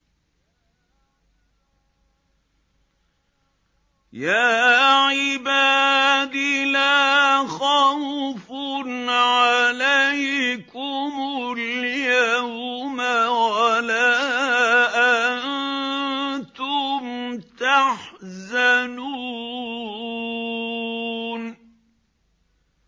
يَا عِبَادِ لَا خَوْفٌ عَلَيْكُمُ الْيَوْمَ وَلَا أَنتُمْ تَحْزَنُونَ